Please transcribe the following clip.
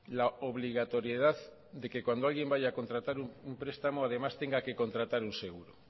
la obligatoriedad de que cuando alguien vaya a contratar un prestamo además tenga que contratar un seguro